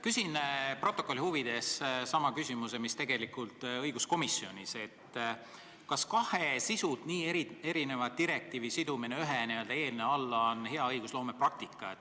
Küsin protokolli huvides sama küsimuse, mis õiguskomisjonis, et kas kahe sisult nii erineva direktiivi sidumine ühe n-ö eelnõu alla on hea õigusloome praktika.